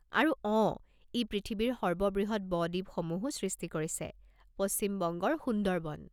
আৰু অঁ, ই পৃথিৱীৰ সৰ্ববৃহৎ ব-দ্বীপসমূহো সৃষ্টি কৰিছে পশ্চিম বংগৰ সুন্দৰবন।